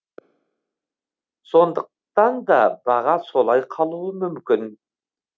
сондықтан да баға солай қалуы мүмкін